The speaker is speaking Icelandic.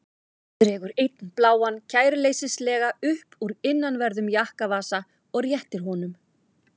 Dregur einn bláan kæruleysislega upp úr innanverðum jakkavasa og réttir honum.